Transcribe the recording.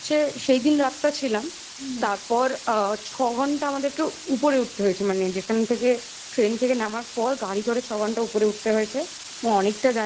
সেইদিন রাতটা ছিলাম তারপর আ ছঘন্টা আমাদেরকে উপরে উঠতে হয়েছে মানে যেখান থেকে ট্রেন থেকে নামার পর গাড়ি করে ছঘন্টা উপরে উঠতে হয়েছে